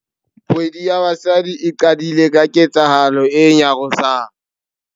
Kgwedi ya Basadi e qadile ka ketsahalo e nyarosang.